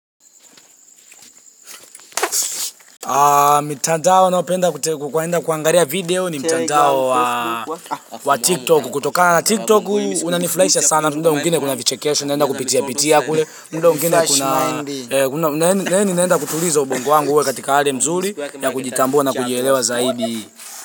Mitandao ninayo penda kuenda kuangalia video ni mtandao wa tiktok. Kutokana na tiktok unanifurahisha sana. Muda mwingine kuna vichekesho naenda kupitia pitia kule. Muda mwingine kuna yaani naenda kutuliza ubongo wangu uwe katika hali nzuri ya kujitambua na kujielewa zaidi.